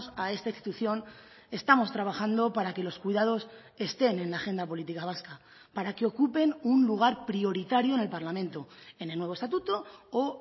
a esta institución estamos trabajando para que los cuidados estén en la agenda política vasca para que ocupen un lugar prioritario en el parlamento en el nuevo estatuto o